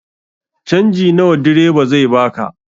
Canji nawa direba zai baka?